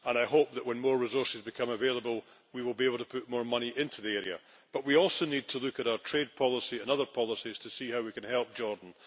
I hope that, when more resources become available, we will be able to put more money into the area, but we also need to look at our trade policy and other policies to see how we can help Jordan.